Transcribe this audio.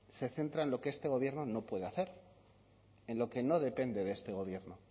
se centra en lo que este gobierno no puede hacer en lo que no depende de este gobierno